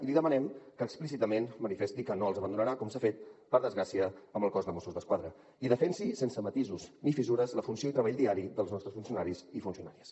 i li demanem que explícitament manifesti que no els abandonarà com s’ha fet per desgràcia amb el cos de mossos d’esquadra i defensi sense matisos ni fissures la funció i el treball diari dels nostres funcionaris i funcionàries